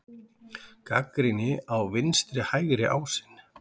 Gagnrýni á vinstri-hægri ásinn